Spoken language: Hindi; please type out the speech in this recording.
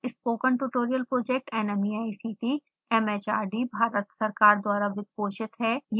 spoken tutorial project nmeict mhrd भारत सरकार द्वारा वित्त पोषित है